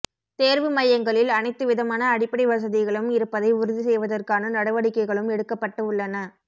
தேர்வு மையங்களில் அனைத்து விதமான அடிப்படை வசதிகளும் இருப்பதை உறுதி செய்வதற்கான நடவடிக்கைகளும் எடுக்கப்பட்டு உள்ளன